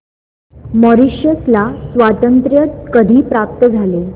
Mauritius ला स्वातंत्र्य कधी प्राप्त झाले